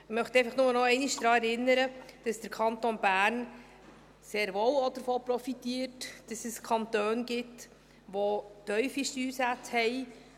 Ich möchte einfach nur nochmals daran erinnern, dass der Kanton Bern sehr wohl auch davon profitiert, dass es Kantone gibt, die tiefe Steuersätze haben.